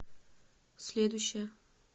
следующая